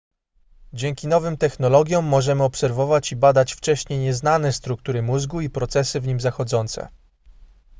dzięki nowym technologiom możemy obserwować i badać wcześniej nieznane struktury mózgu i procesy w nim zachodzące